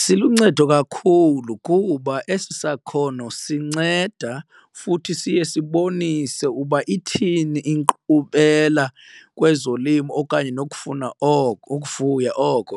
Siluncedo kakhulu kuba esi sakhono sinceda futhi siye sibonise uba ithini inkqubela kwezolimo okanye nokufuna oko ukufuya oko,